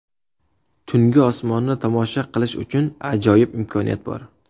Tungi osmonni tomosha qilish uchun ajoyib imkoniyat bor.